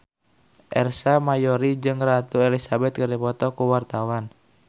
Ersa Mayori jeung Ratu Elizabeth keur dipoto ku wartawan